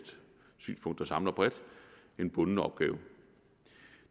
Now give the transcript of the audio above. synspunkt der samler bredt en bunden opgave